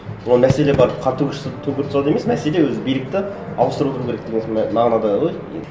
ол мәселе барып қантөгіс жасап төңкеріп тастауда емес мәселе өзі билікті ауыстырып отыру керек деген сондай мағынада ғой